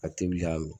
A te wuli k'a mi